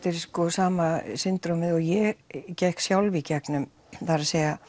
sama syndrom ið og ég gekk sjálf í gegnum það er